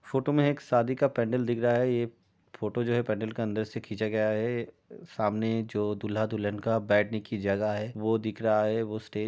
Photo में एक सादी का पेंडील दिख रहा है। ये फोटो जो है पैडिल के अंदर से खींचा गया है। सामने जो दूल्हा-दुल्हन का बैठने की जगह है वो दिख रहा है। वो स्टेज --